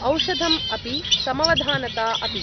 औषधम् अपि, समवधानता अपि।